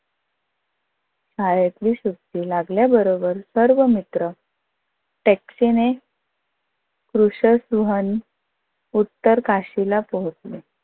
शाळेतली सुटी लागल्याबरोबर सर्व मित्र taxi ने रुशद सुहान उतर काशीला पोहचले.